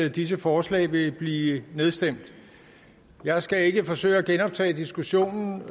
at disse forslag vil blive nedstemt jeg skal ikke forsøge at genoptage diskussionen